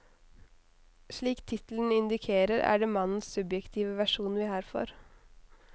Slik tittelen indikerer, er det mannens subjektive versjon vi her får.